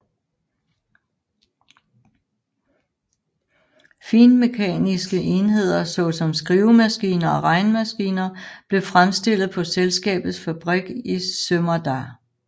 Finmekaniske enheder såsom skrivemaskiner og regnemaskiner blev fremstillet på selskabets fabrik i Sömmerda